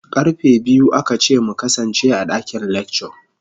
Karfe biyu aka ce mu kasance a dakin lecture.